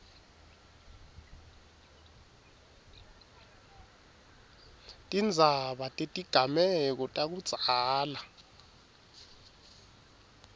tindzaba tetigameko takudzala